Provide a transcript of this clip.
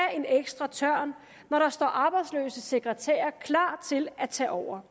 en ekstra tørn når der står arbejdsløse sekretærer klar til at tage over